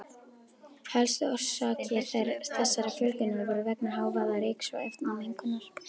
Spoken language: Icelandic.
Helstu orsakir þessarar fjölgunar voru vegna hávaða-, ryks- og efnamengunar.